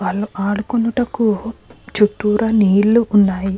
వాళ్లు ఆడుకొనుటకు చుట్టూరా నీళ్లు ఉన్నాయి.